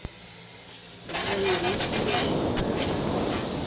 заиру терещенко